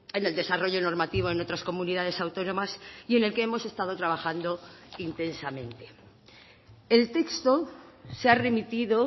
en el desarrollo normativo en otras comunidades autónomas y en el que hemos estado trabajando intensamente el texto se ha remitido